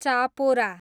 Chapora